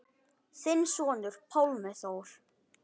Þinn sonur, Pálmi Þór.